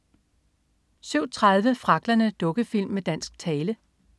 07.30 Fragglerne. Dukkefilm med dansk tale